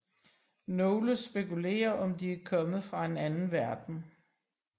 Nogle spekulerer om de er kommet fra en anden verden